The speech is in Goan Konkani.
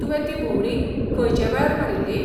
तुवें ती भोंवडी खंयचे वेळार मारील्ली?